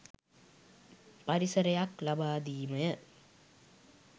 පරිසරයක් ලබාදීමය.